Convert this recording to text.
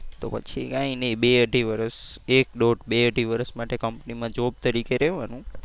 તો પછી કઈ નહીં બે અઢી વર્ષ એક દોઢ બે અઢી વર્ષ માટે કંપનીમાં job તરીકે રેવાનું.